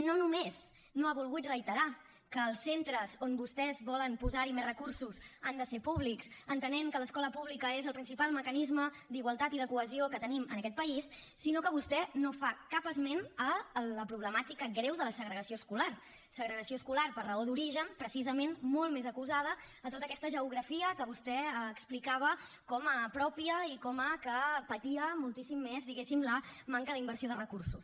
no només no ha volgut reiterar que els centres on vostès volen posar més recursos han de ser públics entenent que l’escola pública és el principal mecanisme d’igualtat i de cohesió que tenim en aquest país sinó que vostè no fa cap esment de la problemàtica greu de la segregació escolar segregació escolar per raó d’origen precisament molt més acusada a tota aquesta geografia que vostè explicava com a pròpia i que patia moltíssim més diguéssim la manca d’inversió de recursos